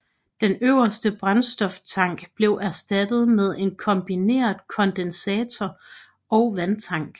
Den øverste brændstoftank blev erstattet med en kombineret kondensator og vandtank